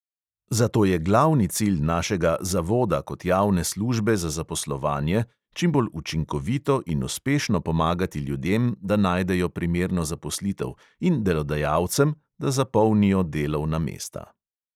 Zato je glavni cilj našega zavoda kot javne službe za zaposlovanje čim bolj učinkovito in uspešno pomagati ljudem, da najdejo primerno zaposlitev, in delodajalcem, da zapolnijo delovna mesta.